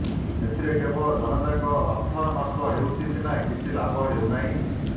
ଏଥିରେ କେବଳ ଜନତାଙ୍କ ଅର୍ଥ ନଷ୍ଟ ହେଉଛି ସିନା କିଛି ଲାଭ ହେଉନାହିଁ